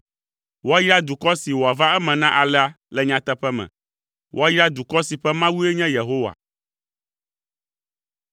Woayra dukɔ si wòava eme na alea le nyateƒe me; Woayra dukɔ si ƒe Mawue nye Yehowa.